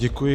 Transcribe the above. Děkuji.